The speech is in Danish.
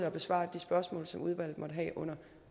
at besvare de spørgsmål som udvalget måtte have under